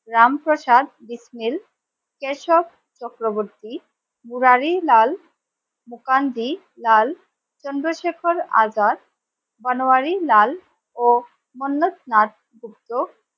রামপ্রসাদ বিসমিল কেশব চক্রবর্তী মুরারিলাল মুকান্দি লাল চন্দ্রশেখর আজাদ মানবাড়িলাল লাল ও অন্যস্থান যুক্ত,